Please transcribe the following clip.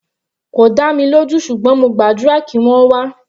Kò dá mi lójú ṣùgbọ́n mo gbàdúrà kí wọ́n wá.